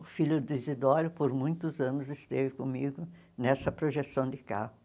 O filho do Isidoro, por muitos anos, esteve comigo nessa projeção de carro.